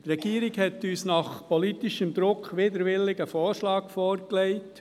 Die Regierung hat uns infolge politischen Drucks widerwillig einen Vorschlag vorgelegt.